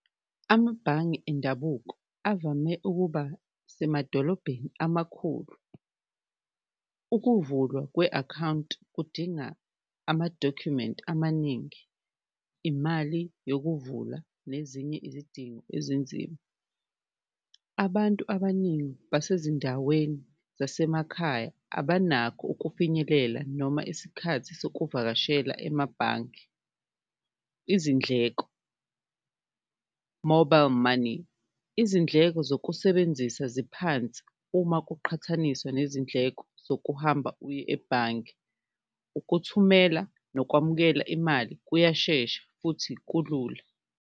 Amabhange indabuko avame ukuba semadolobheni amakhulu, ukuvulwa kwe-akhawunti kudinga amadokhumenti amaningi, imali yokuvula nezinye izidingo ezinzima, abantu abaningi basezindaweni zasemakhaya abanakho ukufinyelela noma isikhathi sokuvakashela emabhange. Izindleko, mobile money izindleko zokusebenzisa ziphansi uma kuqhathaniswa nezindleko zokuhamba uye ebhange, ukuthumela nokwamukela imali kuyashesha futhi kulula.